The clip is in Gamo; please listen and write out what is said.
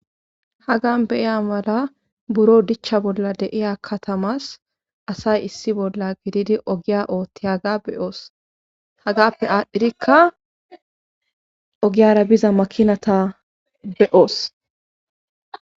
hagan be'iya mala buro dichcha bolla deiya katamas asay issi bolla gididi ogiya ootti haga beyoos hagappe aadhdhirikka ogiyara biza makinata be'oos